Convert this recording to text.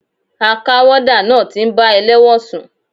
A ká wọ́dà náà ti ń bá elẹ́wọ̀n sùn.